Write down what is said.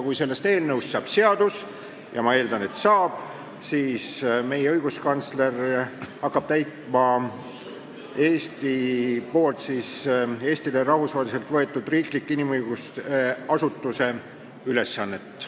Kui sellest eelnõust saab seadus – ja ma eeldan, et saab –, siis hakkab meie õiguskantsler täitma Eestile rahvusvaheliselt võetud riikliku inimõiguste asutuse ülesannet.